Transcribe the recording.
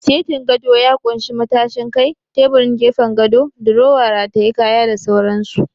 Setin gado ya ƙunshi matashin kai, teburin gefen gado, durowa rataye kaya da sauran su